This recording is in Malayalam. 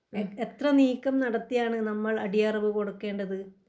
ഏഹ് എത്ര നീക്കം നടത്തിയാണ് നമ്മൾ അടിയറവ് കൊടുക്കേണ്ടത്?